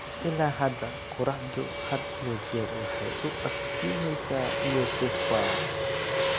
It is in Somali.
"Ilaa hadda, qorraxdu had iyo jeer waxay u iftiimaysaa Youssoufa.